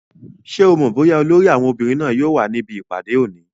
Ṣé o mọ̀ bóyá olórí àwọn obìnrin náà yóò wà níbi ìpàdé òní?